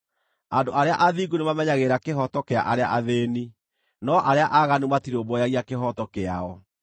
Andũ arĩa athingu nĩmamenyagĩrĩra kĩhooto kĩa arĩa athĩĩni, no arĩa aaganu matirũmbũyagia kĩhooto kĩao.